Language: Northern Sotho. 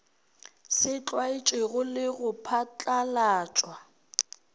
se tlwaetšwego le go phatlalatšwa